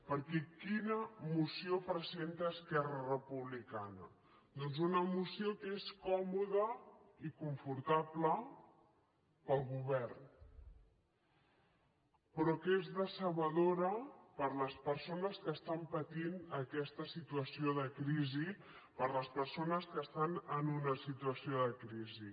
perquè quina moció presenta esquerra republicana doncs una moció que és còmoda i confortable per al govern però que és decebedora per a les persones que estan patint aquesta situació de crisi per a les persones que estan en una situació de crisi